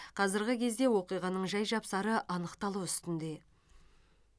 қазіргі кезде оқиғаның жай жапсары анықталу үстінде